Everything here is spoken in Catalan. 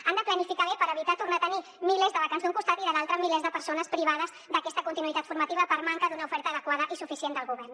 han de planificar bé per evitar tornar a tenir milers de vacants d’un costat i de l’altre milers de persones privades d’aquesta continuïtat formativa per manca d’una oferta adequada i suficient del govern